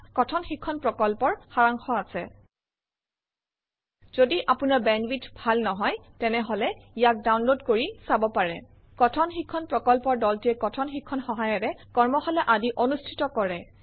ইয়াত কথন শিক্ষণ প্ৰকল্পৰ সাৰাংশ আছে যদি আপোনাৰ বেণ্ডৱিডথ ভাল নহয় তেনেহলে ইয়াক ডাউনলোড কৰি চাব পাৰে কথন শিক্ষণ প্ৰকল্পৰ দলটিয়ে কথন শিক্ষণ সহায়িকাৰে কৰ্মশালা আদি অনুষ্ঠিত কৰে